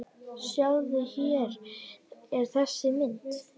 Sjáðu, hér er þessi mynd.